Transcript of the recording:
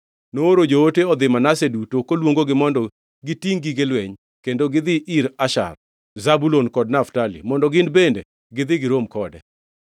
Nooro joote odhi Manase duto, koluongogi mondo gitingʼ gige lweny, kendo gidhi ir Asher, Zebulun kod Naftali, mondo gin bende gidhi girom kode.